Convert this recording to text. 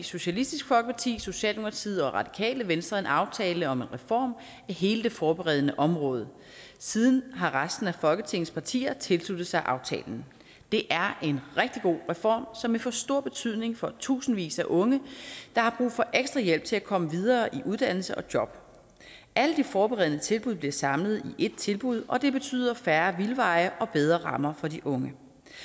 socialistisk folkeparti socialdemokratiet og radikale venstre en aftale om en reform af hele det forberedende område siden har resten af folketingets partier tilsluttet sig aftalen det er en rigtig god reform som vil få stor betydning for tusindvis af unge der har brug for ekstra hjælp til at komme videre i uddannelse og job alle de forberedende tilbud bliver samlet i ét tilbud og det betyder færre vildveje og bedre rammer for de unge